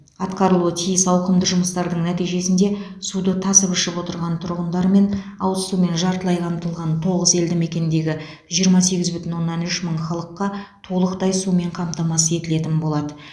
атқарылуы тиіс ауқымды жұмыстардың нәтижесінде суды тасып ішіп отырған тұрғындар мен ауызсумен жартылай қамтылған тоғыз елді мекендегі жиырма сегіз бүтін оннан үш мың халыққа толықтай сумен қамтамасыз етілетін болады